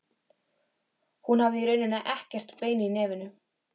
Hún hafði í rauninni ekkert bein í nefinu.